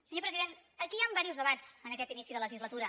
senyor president aquí hi han diversos debats en aquest inici de legislatura